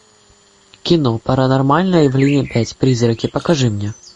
кино паранормальное явление пять призраки покажи мне